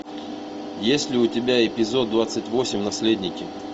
есть ли у тебя эпизод двадцать восемь наследники